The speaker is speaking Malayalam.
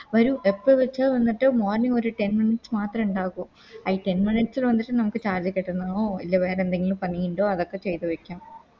വരൂ എപ്പ വെച്ച വന്നിട്ട് Morning ഒരു Ten miutes മാത്രേ ഇണ്ടാകു അയ് Ten minutes വന്നിട്ട് നമുക്ക് Charge കെറ്റുന്നോ അല്ലെ വേറെന്തെങ്കിലും പണി ണ്ടോ അതൊക്കെ ചെയ്ത വെക്കാം